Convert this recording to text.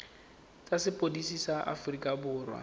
tsa sepodisi sa aforika borwa